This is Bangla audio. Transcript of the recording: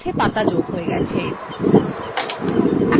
গাছwe পাতা যোগ হয়ে গেছে !